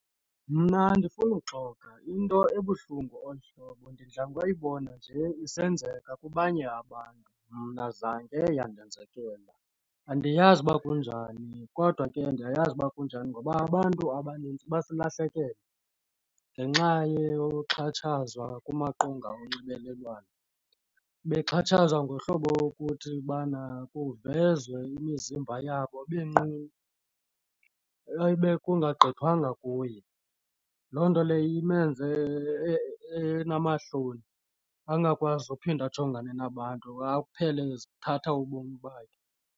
Mna andifunuxoka into ebuhlungu olu hlobo ndidla ngokubona nje isenzeka kwabanye abantu mna zange yandenzekela. Andiyazi uba kunjani kodwa ke ndiyayazi uba kunjani ngoba abantu abanintsi basilahlekele ngenxa yokuxhatshazwa kumaqonga onxibelelwano bexhatshazwa ngohlobo wokuthi ubana kuvezwa imizimba yabo benqunu ayibe kungagqithwanga kuye. Loo nto leyo imenze enamahloni angakwazi uphinde ajongane nabantu aphele ezithatha ubomi bakhe.